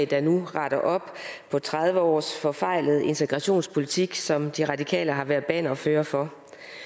der nu retter op på tredive års forfejlet integrationspolitik som de radikale har været bannerfører for